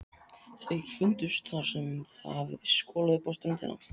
Þeir fundust þar sem þeim hafði skolað upp á ströndina.